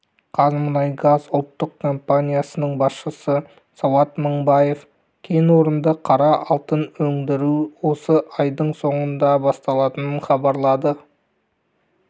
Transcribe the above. қазмұнайгаз ұлттық компаниясының басшысы сауат мыңбаев кен орнында қара алтын өндіру осы айдың соңында басталатынын хабарлады